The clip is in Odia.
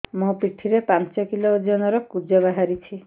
ମୋ ପିଠି ରେ ପାଞ୍ଚ କିଲୋ ଓଜନ ର କୁଜ ବାହାରିଛି